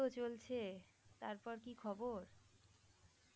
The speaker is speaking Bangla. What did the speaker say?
এইতো চলছে. তারপর কি খবর?